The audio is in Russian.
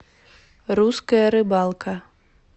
русская рыбалка